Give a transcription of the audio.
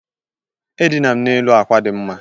Edina m n'elu àkwà dị mma.